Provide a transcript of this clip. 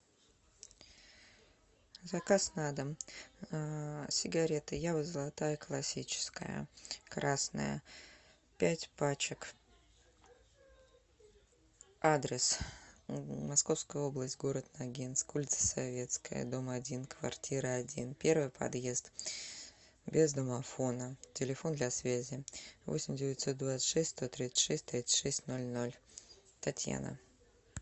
заказ на дом сигареты ява золотая классическая красная пять пачек адрес московская область город нагинск улица советская дом один каартира один первый подъезд без домофона телефон для связи восемь девятьсот двадцать шесть сто тридцать шесть тридцать шесть ноль ноль татьяна